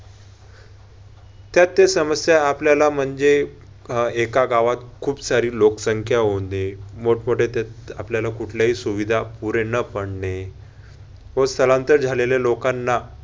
त्यात त्या समस्या आपल्याला म्हणजे एका गावात खूप सारी लोकसंख्या होऊन दे मोठमोठ्या त्यात आपल्याला कुठल्याही सुविधा पुरे न पडणे व स्थलांतर झालेल्या लोकांना